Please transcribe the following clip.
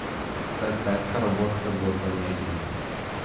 Saj celjska robotska zgodba ni edina.